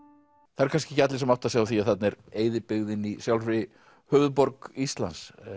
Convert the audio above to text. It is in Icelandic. það eru kannski ekki allir sem átta sig á því að þarna er eyðibyggðin í sjálfir höfuðborg Íslands